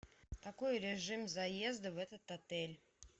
какой режим заезда в этот отель